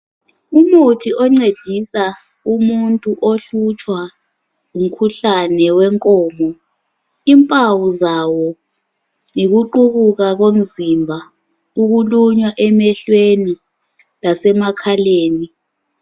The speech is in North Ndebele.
Umuthi oncedisa umuntu ohlutshwa ngumkhuhlane wenkomo, impawu zawo yikuqubuka komzimba ukulunya emehlweni lasemakhaleni